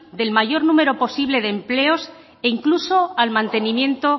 del mayor número posible de empleos incluso al mantenimiento